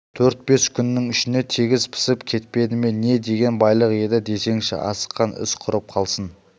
төрт-бес күннің ішінде тегіс пісіп кетпеді ме не деген байлық еді десеңші асыққан іс құрып қалсын